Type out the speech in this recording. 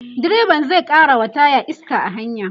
direban zai karawa taya iska a hanya